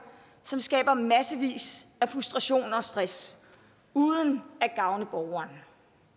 som skaber massevis af frustration og stress uden at gavne borgeren